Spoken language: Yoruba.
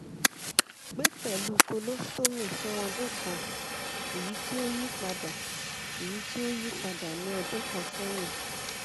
gbe pẹlu colostomy fun ọdun kan eyiti o yipada eyiti o yipada ni ọdun kan sẹyin